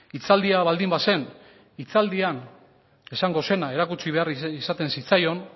hitzaldia baldin bazen hitzaldian esango zena erakutsi behar izaten zitzaion